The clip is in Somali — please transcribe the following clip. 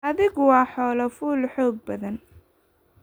Adhigu waa xoolo fuul xoog badan.